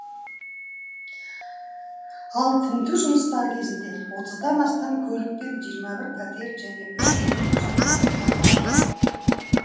ал тінту жұмыстары кезінде отыздан астам көлік пен жиырма пәтер және үш үйдің құжаттары табылған